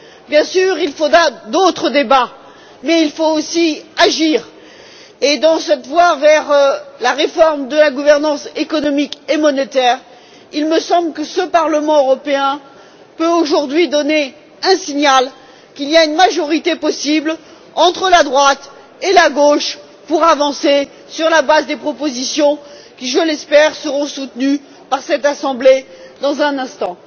Bien sûr, il faudra d'autres débats, mais il faut aussi agir et, dans cette voie vers la réforme de la gouvernance économique et monétaire, il me semble que ce Parlement européen peut aujourd'hui donner un signal il y a une majorité possible entre la droite et la gauche pour avancer sur la base des propositions qui, je l'espère, seront soutenues par cette Assemblée dans un instant.